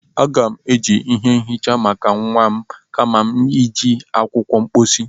Aga m-eji ihe nhicha maka nwa m kama iji akwụkwọ mposi.